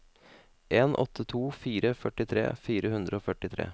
en åtte to fire førtitre fire hundre og førtitre